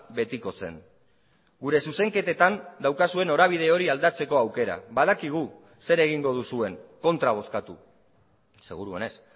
betikotzen gure zuzenketetan daukazue norabide hori aldatzeko aukera badakigu zer egingo duzuen kontra bozkatu seguruenez